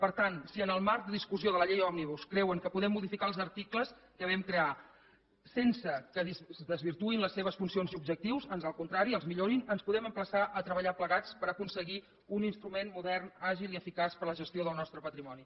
per tant si en el marc de discussió de la llei òmnibus creuen que podem modificar els articles que vam crear sense que es desvirtuïn les seves funcions i objectius ans al contrari els millorin ens podem emplaçar a treballar plegats per aconseguir un instrument modern àgil i eficaç per a la gestió del nostre patrimoni